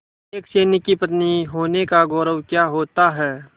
एक सैनिक की पत्नी होने का गौरव क्या होता है